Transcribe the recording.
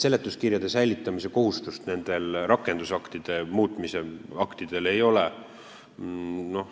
Seletuskirjade säilitamise kohustust nende rakendusaktide puhul ei ole.